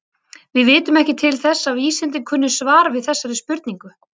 Við vitum ekki til þess að vísindin kunni svar við þessari spurningu.